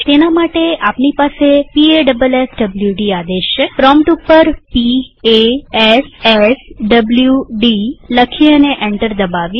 તેના માટે આપણી પાસે પાસવાડ આદેશ છેપ્રોમ્પ્ટ ઉપર p a s s w d લખીએ અને એન્ટર દબાવીએ